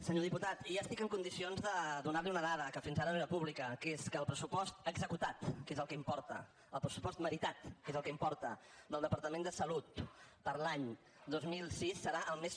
senyor diputat ja estic en condicions de donar li una dada que fins ara no era pública que és que el pressupost executat que és el que importa el pressupost meritat que és el que importa del departament de salut per a l’any dos mil sis serà el més